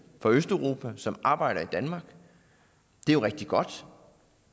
fra østeuropa som arbejder i danmark det er jo rigtig godt